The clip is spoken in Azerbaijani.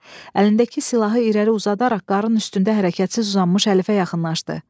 Əlindəki silahı irəli uzadaraq qarının üstündə hərəkətsiz uzanmış Əlifə yaxınlaşdı.